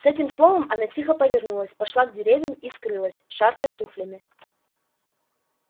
с этим словом она тихо повернулась пошла к дверям и скрылась шаркая туфлями